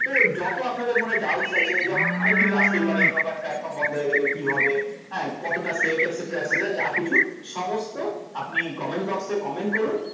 তো যত আপনাদের মনে doubts আছে যেমন অনেক কিছু আসতেই পারে ইউনো কয়েন pltform বন্ধ হয়ে গেলে কী হবে হ্যাঁ কতটা safe etcetra etcetra যা কিছু সমস্ত আপনি comment box এ comment করুন